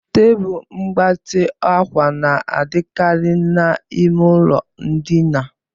Tebụl mgbatị ákwà na-adịkarị n'ime ụlọ ndina.